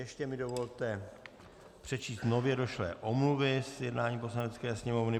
Ještě mi dovolte přečíst nově došlé omluvy z jednání Poslanecké sněmovny.